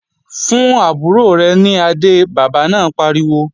Fún àbúrò rẹ̀ ní adé, bàbá náà pariwo!